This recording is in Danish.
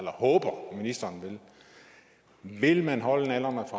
håber at ministeren ved vil man holde nallerne